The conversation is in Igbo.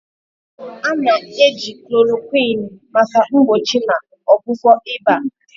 A na-eji Chloroquine maka mgbochi na ọgwụgwọ ịba.